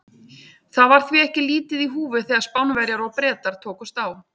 Það var því ekki lítið í húfi þegar Spánverjar og Bretar tókust á.